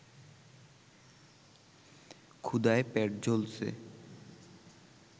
ক্ষুধায় পেট জ্বলছে